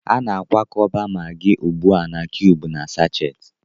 A na-akwakọba Maggi ugbu a na kiyubu na sáchééti